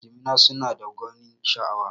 Jimina suna da gwanin sha'awa